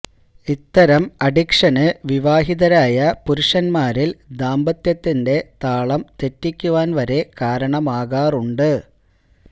ഇത്തരം അഡിക്ഷന് വിവാഹിതരായ പുരുഷന്മാരില് ദാമ്പത്യത്തിന്റെ താളം തെറ്റിയ്ക്കുവാന് വരെ കാരണമാകാറുണ്ട്